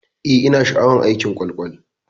Eh, ina sha'awar askin kwakwal.